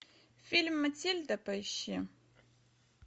фильм матильда поищи